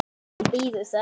Hún bíður þess.